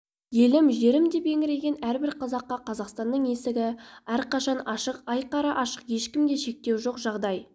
елім жерім деп еңіреген әрбір қазаққа қазақстанның есігі әрқашан ашық айқара ашық ешкімге шектеу жоқ жағдай